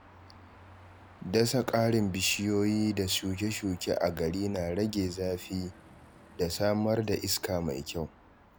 Dasa ƙarin bishiyoyi da shuke-shuke a gari na rage zafi da samar da iska mai kyau.